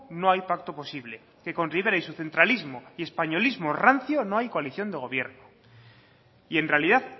no hay pacto posible que con rivera y su centralismo y españolismo rancio no hay coalición de gobierno y en realidad